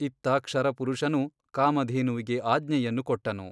ಇತ್ತ ಕ್ಷರಪುರುಷನು ಕಾಮಧೇನುವಿಗೆ ಆಜ್ಞೆಯನ್ನು ಕೊಟ್ಟನು.